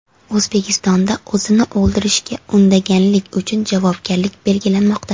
O‘zbekistonda o‘zini o‘ldirishga undaganlik uchun javobgarlik belgilanmoqda.